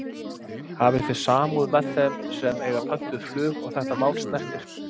Hafi þið samúð með þeim sem að eiga pöntuð flug og þetta mál snertir?